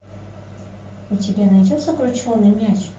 у тебя найдется крученный мяч